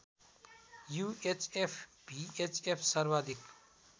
UHF VHF सर्वाधिक